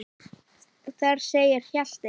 Þar segir Hjalti